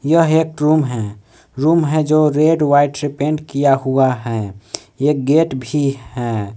यह एक रूम है रूम है जो रेड व्हाइट से पेंट किया हुआ है एक गेट भी है।